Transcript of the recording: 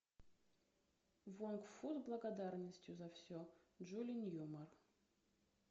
вонгу фу с благодарностью за все джули ньюмар